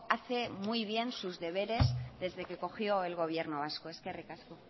hace muy bien sus deberes desde que cogió el gobierno vasco eskerrik asko